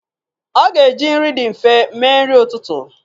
Ọ ga-eji nri dị nfe mee nri ụtụtụ.